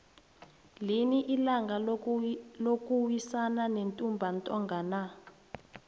lini ilanga lokuwisana nentumba ntonga na